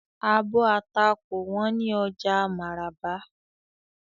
Àbò atá kò wón ni oja Maraba.